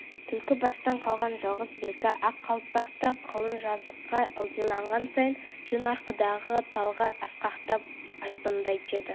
түлкібастан қалған жалғыз белгі ақ қалпақ та қылаң жазыққа ылдиланған сайын жөн-арқадағы талғар асқақтап айбындай түседі